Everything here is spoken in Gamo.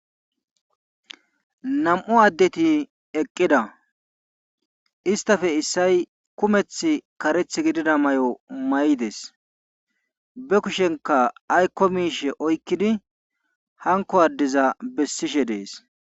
nam7u addeti eqqida istafe issay kumeth kareth gidida may7o may7 des be kushenka aykko miishe oykkidi hanko addiza bessishe dees